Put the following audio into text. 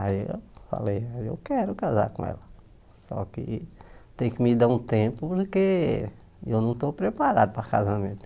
Aí eu falei, eu quero casar com ela, só que tem que me dar um tempo porque eu não estou preparado para casamento.